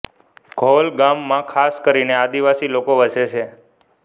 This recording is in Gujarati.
ધોલગામ ગામમાં ખાસ કરીને આદિવાસી લોકો વસે છે